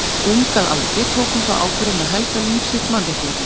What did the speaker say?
Ung að aldri tók hún þá ákvörðun að helga líf sitt mannréttindum.